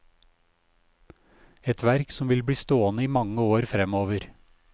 Et verk som vil bli stående i mange år fremover.